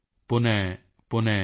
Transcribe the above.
ਪੁਨ ਪੁਨ ਪ੍ਰਵਰਧੇਤ